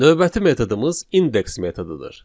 Növbəti metodumuz indeks metodudur.